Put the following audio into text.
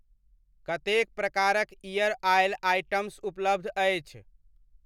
कतेक प्रकारक ear oil items उपलब्ध अछि?